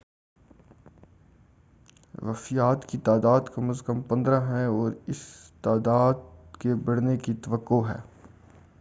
وفیات کی تعداد کم از کم 15 ہے اور اس تعداد کے بڑھنے کی توقع ہے